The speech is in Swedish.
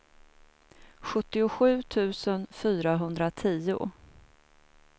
sjuttiosju tusen fyrahundratio